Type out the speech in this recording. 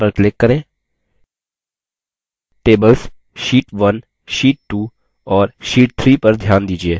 tables sheet1 sheet2 और sheet3 पर ध्यान दीजिये